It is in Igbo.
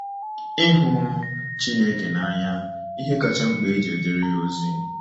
Ịhụ Chineke n’anya—Ihe kacha mkpa e ji ejere ya ozi.